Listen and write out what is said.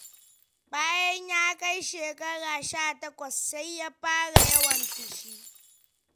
Bayan ya kai shekara sha takwas, sai ya fara yawan fushi.